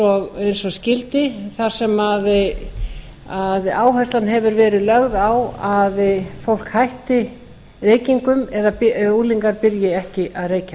gaumur eins og skyldi þar sem áherslan hefur verið lögð á að fólk hætti reykingum eða unglingar byrji ekki að reykja